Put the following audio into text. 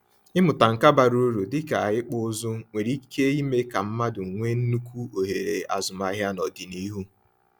Ịmụta nka bara uru dịka ịkpụ ụzụ nwere ike ime ka mmadụ nwee nnukwu ohere azụmahịa n’ọdịnihu.